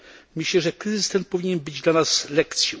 Myślę, że kryzys ten powinien być dla nas lekcją.